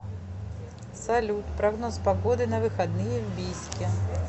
салют прогноз погоды на выходные в бийске